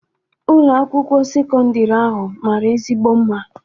Ụlọ akwụkwọ sekọndrị ahụ mara ezigbo mma